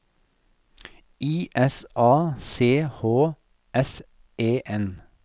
I S A C H S E N